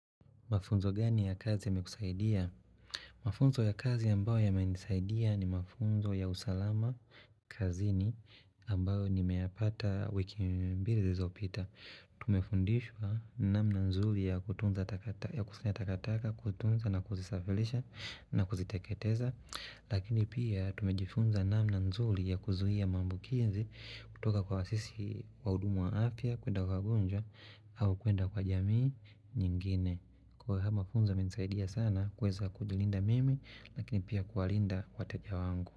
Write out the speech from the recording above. Mafunzo gani ya kazi yamekusaidia? Mafunzo ya kazi ambayo yamenisaidia ni mafunzo ya usalama kazini ambayo nimeyapata wiki mbili zilizopita. Tumefundishwa namna nzuri ya kutunza takataka, kutunza na kuzisafirisha na kuziteketeza. Lakini pia tumejifunza namna nzuri ya kuzuhia maambukizi kutoka kwa sisi wahudumu wa afya, kuenda kwa wagonjwa au kuenda kwa jamii nyingine. Kwa haya mafunzo yamensaidia sana kuweza kujilinda mimi Lakini pia kuwalinda wateja wangu.